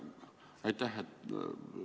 Aitäh selle eest!